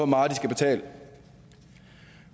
meget de skal betale